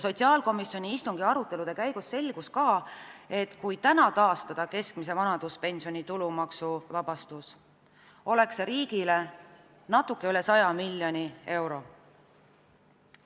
Sotsiaalkomisjoni arutelude käigus selgus ka, et kui taastada keskmise vanaduspensioni tulumaksuvabastus, tähendaks see riigile natuke üle 100 miljoni euro.